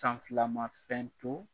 San fila ma fɛn to